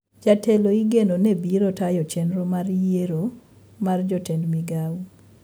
Jatelo igeno ne biro tayo chendro mar yiero mar jotend migao